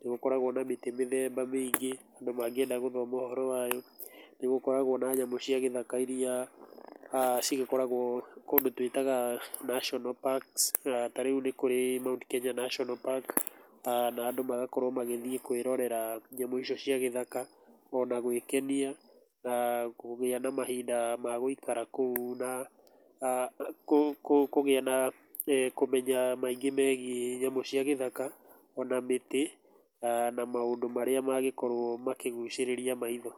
nĩ gũkoragwo na mĩtĩ mĩthemba mĩingĩ andũ mangĩenda gũthoma ũhoro wayo, nĩ gũkoragwo na nyamũ cia gĩthaka ĩrĩa cigĩkoragwo kũndũ twĩtaga National Parks, ta rĩu nĩ kũrĩ Mount Kenya National Park na andũ magakorwo magĩthiĩ kuĩrorera nyamũ icio cia gĩthaka ona gwĩkenia na kũgĩa na mahinda magũikara kũu na kũgĩa na kũmenya maingĩ megiĩ nyamũ cia gĩthaka ona mĩtĩ na maũndũ marĩa magĩkorwo makĩgũcĩrĩrĩa maitho.